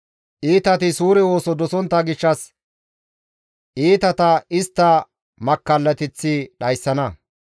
Iitati suure ooso dosontta gishshas iitata istta makkallateththi dhayssana.